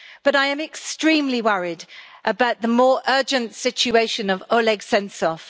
I am extremely worried about the more urgent situation of Oleg Sentsov.